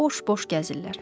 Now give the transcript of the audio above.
Boş-boş gəzirlər.